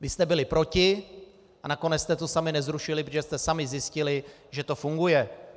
Vy jste byli proti a nakonec jste to sami nezrušili, protože jste sami zjistili, že to funguje.